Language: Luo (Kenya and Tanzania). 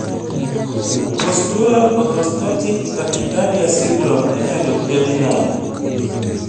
Postural orthostatic tachycardia syndrome inyalo thiedhi nade